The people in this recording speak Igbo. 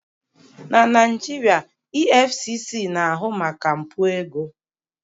Na Naijiria, EFCC na-ahụ maka mpụ ego